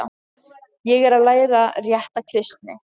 Ég er að læra rétta kristni.